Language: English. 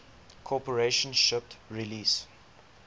corporation shipped release